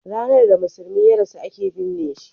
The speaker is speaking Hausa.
ranar da musulmi ya rasu a ke binne shi